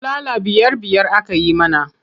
Bulala biyar-biyar aka yi mana.